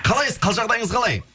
қалайсыз қал жағдайыңыз қалай